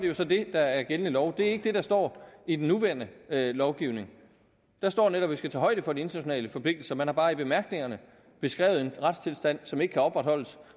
jo så det der er gældende lov det er ikke det der står i den nuværende lovgivning der står netop at vi skal tage højde for de internationale forpligtelser man har bare i bemærkningerne beskrevet en retstilstand som ikke kan opretholdes